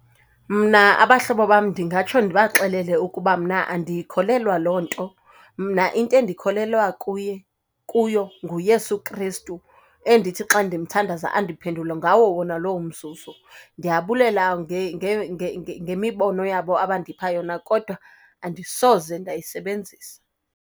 Mna abahlobo bam ndingatsho ndibaxelele ukuba mna andiyikholelwa loo nto, mna into endikholelwa kuye, kuyo nguYesu Kristu, endithi xa ndimthandaza andiphendule ngawo wona lowo mzuzu. Ndiyabulela ngemibono yabo abandipha yona, kodwa andisoze ndayisebenzisa.